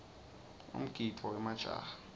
umgidvo wemajaha